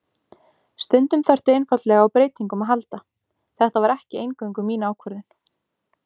Stundum þarftu einfaldlega á breytingum að halda, þetta var ekki eingöngu mín ákvörðun.